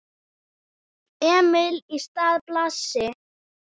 Emil í stað Blasi?